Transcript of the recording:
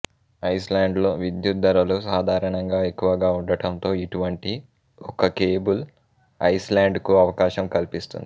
ఐస్ల్యాండ్లో విద్యుత్ ధరలు సాధారణంగా ఎక్కువగా ఉండటంతో ఇటువంటి ఒక కేబుల్ ఐస్ల్యాండ్కు అవకాశం కల్పిస్తుంది